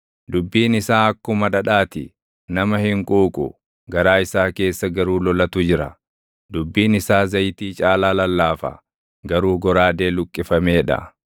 Dubbiin isaa akkuma dhadhaa ti; nama hin quuqu; garaa isaa keessa garuu lolatu jira; dubbiin isaa zayitii caalaa lallaafa; garuu goraadee luqqifamee dha.